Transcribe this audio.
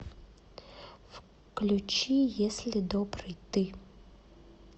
включи если добрый ты